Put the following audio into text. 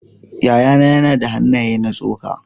Yayana yana da hannaye na tsoka.